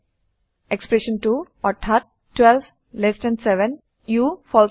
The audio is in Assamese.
এক্সপ্ৰেচন 2 অৰ্থাৎ 12এলটি7 ইয়ো ফালছে হয়